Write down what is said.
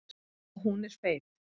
Og hún er feit.